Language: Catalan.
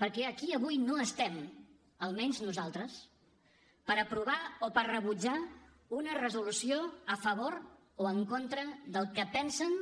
perquè aquí avui no estem almenys nosaltres per aprovar o per rebutjar una resolució a favor o en contra del que pensen